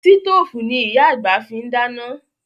Sítòfù ni Ìyá àgbà fi ń dáná